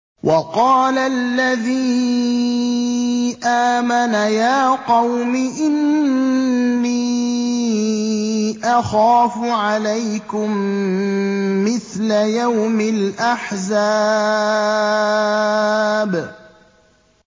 وَقَالَ الَّذِي آمَنَ يَا قَوْمِ إِنِّي أَخَافُ عَلَيْكُم مِّثْلَ يَوْمِ الْأَحْزَابِ